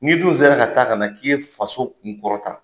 N'i dun sera ka ta ka na k'i ye faso kun kɔrɔtan